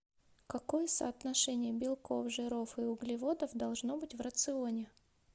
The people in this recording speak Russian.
какое соотношение белков жиров и углеводов должно быть в рационе